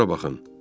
Bura baxın.